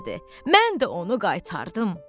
Mən də onu qaytardım.